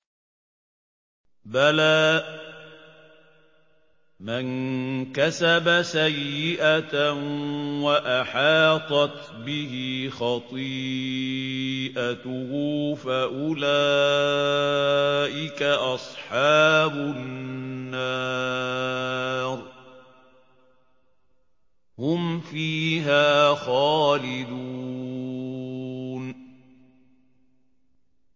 بَلَىٰ مَن كَسَبَ سَيِّئَةً وَأَحَاطَتْ بِهِ خَطِيئَتُهُ فَأُولَٰئِكَ أَصْحَابُ النَّارِ ۖ هُمْ فِيهَا خَالِدُونَ